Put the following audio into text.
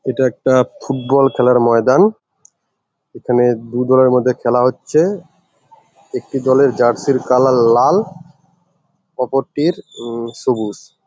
এটা একটা ফুটবল খেলার ময়দান । এখানে দুদলের মধ্যে খেলা হচ্ছে। একটি দলের জার্সি -র কালার লাল অপরটির উম সবুজ ।